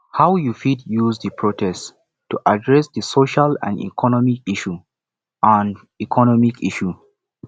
how you fit use di protest to address di social and economic issues and economic issues